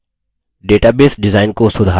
7 database design को सुधारना